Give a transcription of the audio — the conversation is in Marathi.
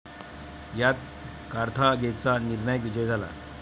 यात कार्थागेचा निर्णायक विजय झाला.